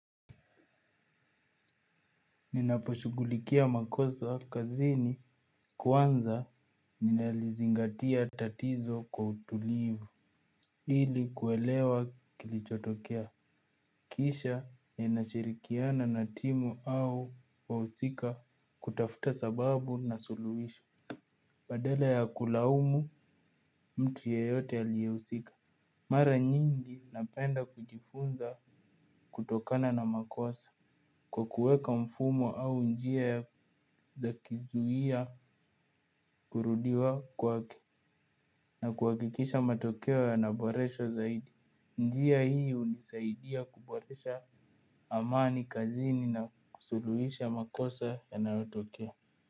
Ninaposhughulikia makosa kazini kwanza ninalizingatia tatizo kwa utulivu. Hili kuelewa kilichotokea. Kisha ninashirikiana na timu au wausika kutafuta sababu na suluwisho. Badala ya kulaumu mtu yeyote aliyehusika mara nyingi napenda kujifunza kutokana na makosa. Kwa kuweka mfumo au njia ya zakizuia kurudiwa kwake na kuwakikisha matokeo ya naboresha zaidi. Njia hii unisaidia kuboresha amani kazini na kusuluhisha makosa yanayo tokea.